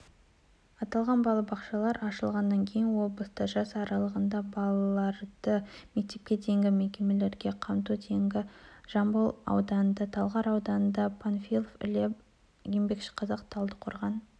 аталған балабақшалар ашылғаннан кейін облыста жас аралығындағы балаларды мектепке дейінгі мекемелермен қамту деңгейі жамбыл ауданында талғар ауданында панфилов іле еңбекшіқазақ талдықорған